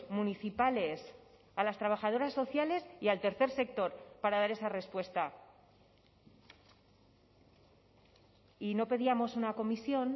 municipales a las trabajadoras sociales y al tercer sector para dar esa respuesta y no pedíamos una comisión